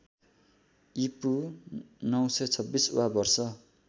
ईपू ९२६ वा वर्ष